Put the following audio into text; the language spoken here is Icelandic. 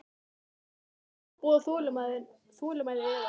Við viljum ekki ofbjóða þolinmæði yðar.